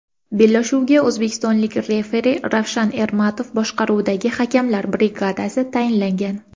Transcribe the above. Bellashuvga o‘zbekistonlik referi Ravshan Ermatov boshqaruvidagi hakamlar brigadasi tayinlangan.